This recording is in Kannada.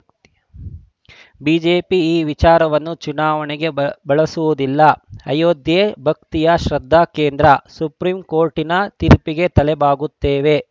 ಬಿಜೆಪಿ ಈ ವಿಚಾರವನ್ನು ಚುನಾವಣೆಗೆ ಬ ಬಳಸುವುದಿಲ್ಲ ಅಯೋಧ್ಯೆ ಭಕ್ತಿಯ ಶೃದ್ಧಾಕೇಂದ್ರ ಸುಪ್ರೀಂ ಕೋರ್ಟಿನ ತೀರ್ಪಿಗೆ ತಲೆಬಾಗುತ್ತೇವೆ